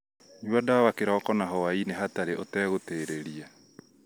Nyua ndawa kĩroko na hwaĩ-inĩ hatarĩ ũtegũtĩrĩria